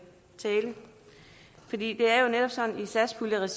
for det er jo netop sådan i satspuljeregi